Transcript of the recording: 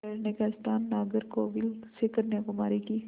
ठहरने का स्थान नागरकोविल से कन्याकुमारी की